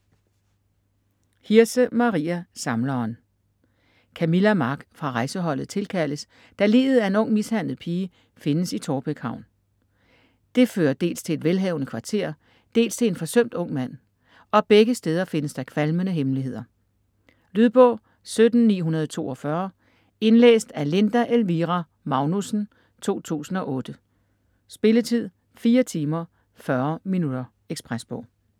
Hirse, Maria: Samleren Camilla Mark fra rejseholdet tilkaldes, da liget af en ung mishandlet pige findes i Taarbæk Havn. Det fører dels til et velhavende kvarter, dels til en forsømt ung mand, og begge steder findes der kvalmende hemmeligheder. Lydbog 17942 Indlæst af Linda Elvira Magnussen, 2008. Spilletid: 4 timer, 40 minutter. Ekspresbog